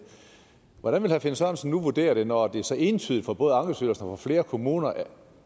hvordan vil herre finn sørensen nu vurdere det når det så entydigt fra både ankestyrelsens og flere kommuners